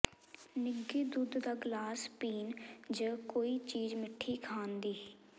ਨਿੱਘੇ ਦੁੱਧ ਦਾ ਗਲਾਸ ਪੀਣ ਜ ਕੋਈ ਚੀਜ਼ ਮਿੱਠੀ ਖਾਣ ਦੀ